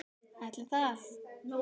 Ætli það.